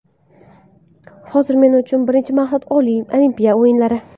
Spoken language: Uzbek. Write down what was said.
Hozir men uchun birinchi maqsad Olimpiya o‘yinlari.